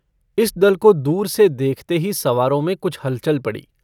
इस दल को दूर से देखते ही सवारों में कुछ हलचल पड़ी।